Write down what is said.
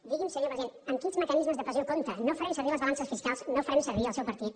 digui’m senyor president amb quins mecanismes de pressió compta no farem servir les balances fiscals no farem servir el seu partit